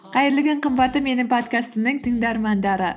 қайырлы күн қымбатты менің подкастымның тыңдармандары